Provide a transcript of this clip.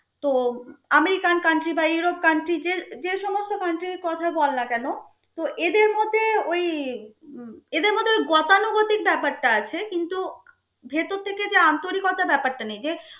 তো American country বা Europe country যে যে সমস্ত country র কথা বল না কেন তো এদের মধ্যে ওই উম এদের মধ্যে ওই গতানুগতিক ব্যপারটা আছে কিন্তু ভেতর থেকে যে আন্তরিকতা ব্যপারটা নেই. যে